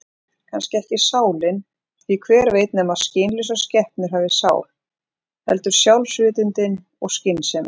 Kannski ekki sálin, því hver veit nema skynlausar skepnur hafi sál, heldur sjálfsvitundin og skynsemin.